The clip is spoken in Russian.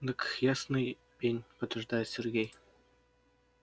дык ясный пень подтверждает сергей